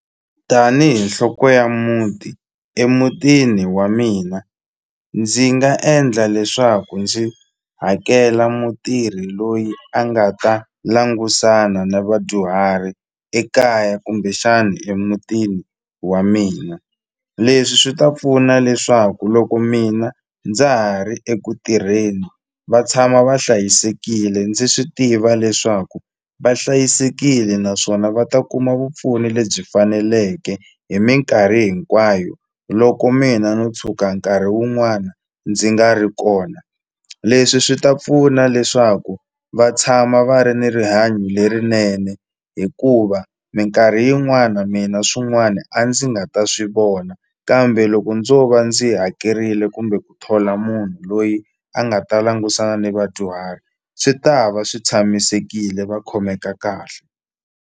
Tanihi nhloko ya muti emutini wa mina ndzi nga endla leswaku ndzi hakela mutirhi loyi a nga ta langusana na vadyuhari ekaya kumbexani emutini wa mina leswi swi ta pfuna leswaku loko mina ndza ha ri eku tirheni va tshama va hlayisekile ndzi swi tiva leswaku va hlayisekile naswona va ta kuma vupfuni lebyi faneleke hi minkarhi hinkwayo loko mina no tshuka nkarhi wun'wana ndzi nga ri kona leswi swi ta pfuna leswaku va tshama va ri ni rihanyo lerinene hikuva minkarhi yin'wana mina swin'wana a ndzi nga ta swi vona kambe loko ndzo va ndzi hakerile kumbe ku thola munhu loyi a nga ta langusana ni vadyuhari swi ta va swi tshamisekile va khomeka kahle.